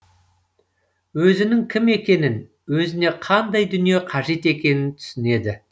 өзінің кім екенін өзіне қандай дүние қажет екенін түсінеді